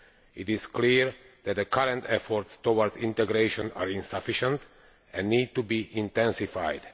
It is clear that the current efforts towards integration are insufficient and need to be intensified.